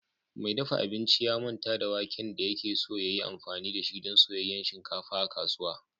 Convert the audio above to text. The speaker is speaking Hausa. Mai dafa abinci ya manta da waken da yake so ya yi amfani da shi don soyayyen shinkafa a kasuwa